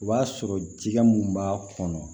O b'a sɔrɔ jɛgɛ mun b'a kɔnɔ